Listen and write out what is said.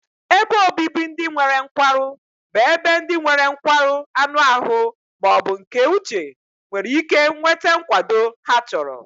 Ebe obibi ndị nwere nkwarụ bụ ebe ndị nwere nkwarụ anụ ahụ ma ọ bụ nke uche nwere ike nweta nkwado ha chọrọ.